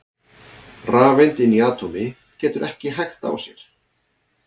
Rafeind inni í atómi getur ekki hægt á sér!